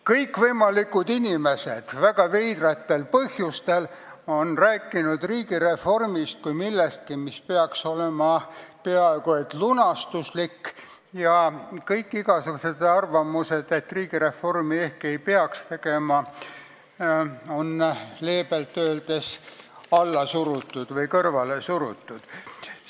Kõikvõimalikud inimesed on väga veidratel põhjustel rääkinud riigireformist kui millestki, mis peaks olema peaaegu et lunastuslik, ja igasugused arvamused, et riigireformi ehk ei peaks tegema, on leebelt öeldes alla või kõrvale surutud.